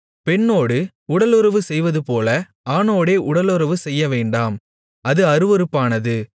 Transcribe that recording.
பெண்ணோடு உடலுறவு செய்வதுபோல ஆணோடே உடலுறவு செய்யவேண்டாம் அது அருவருப்பானது